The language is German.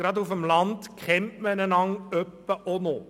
Gerade auf dem Land kennt man einander etwa auch noch.